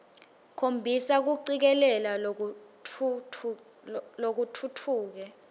khombisa kucikelela lokutfutfuke